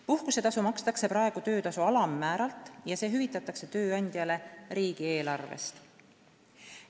Puhkusetasu makstakse praegu töötasu alammääralt ja see hüvitatakse tööandjale riigieelarvest.